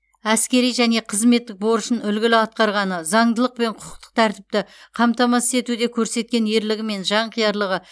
әскери және қызметтік борышын үлгілі атқарғаны заңдылық пен құқықтық тәртіпті қамтамасыз етуде көрсеткен ерлігі мен жанқиярлығы